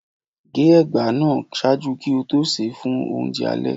ge egba naa ṣaaju ki o to se fun ounjẹ alẹ